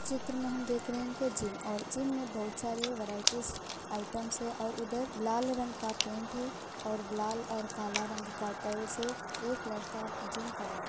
इस चित्र में हम देख रहे है की जिम और जिम में बहुत सारे वेरायटीज आइटम्स है और उधर लाल रंग का पेंट है और लाल और काला रंग का टाइल्स है। एक लड़का जिम कर रहा --